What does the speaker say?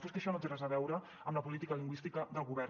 però és que això no té res a veure amb la política lingüística del govern